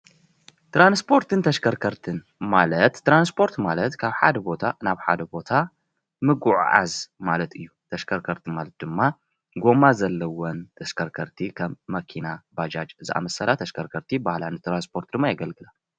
ትራንስፖርትን ተሽከርከርት ማለት ትራንስፖርቲ ማለት ካብ ሓደ ቦታ ናብ ካሊእ ቦታ ምጉዓዓዝ ማለት እዩ። ተሽከርከርቲ ማለት ድማ ጎማ ዘለወን ተሽከርከርቲ ከም መኪና ፣ባጃጅ ዝኣመስላ ተሽከርከርቲ ይበሃላ። ንትራንስፖርት ድማ የገልግላ።